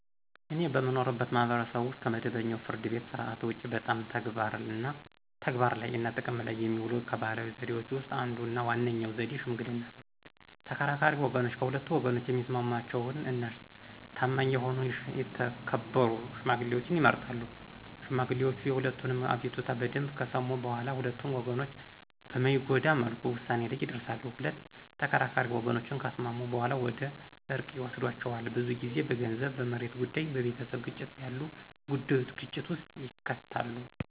እኔ በምኖርበት ማህበረሰብ ውስጥ ከመደበኛው የፍርድ ቤት ሥርዓት ውጪ በጣም ተግባር ላይ እና ጥቅም ላይ የሚውለው ከባህላዊ ዘዴዎች ውስጥ አንዱ እና ዋነኛው ዘዴ ሽምግልና ነው። ተከራካሪ ወገኖች ከሁለቱ ወገኖች የሚስማማቸውን እና ታማኝ የሆኑ የተከበሩ ሽማግሌዎችን ይመርጣሉ። ሽማግሌዎቹ የሁለቱንም አቤቱታ በደምብ ከሰሙ በኋላ ሁለቱንም ወገኖች በማይጎዳ መልኩ ውሳኔ ላይ ይደርሳሉ። ሁለት ተከራካሪ ወገኖችን ካስማሙ በኋላ ወደ እርቅ ይወስዷቸዋል። ብዙ ጊዜ በገንዘብ፣ በመሬት ጉዳይ፣ በቤተሰብ ግጭት ያሉ ጉዳዩች ግጭት ውስጥ ይከታሉ።